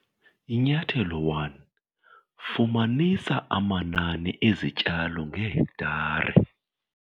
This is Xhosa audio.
Inyathelo 1- Fumanisa amanani ezityalo ngehektare